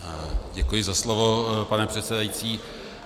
Děkuji za slovo, pane předsedající.